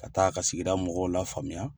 Ka taa ka sigi mɔgɔw la faamuya.